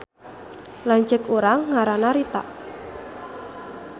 Lanceuk urang ngaranna Rita